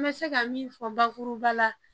N bɛ se ka min fɔ bakuruba la